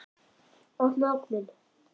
Opnaðu ofninn!